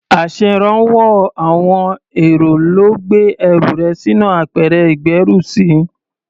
Aṣèrànwọ́ àwọn èrò ló gbé ẹrù rẹ sínú apẹ̀rẹ̀ ìgbérùsí.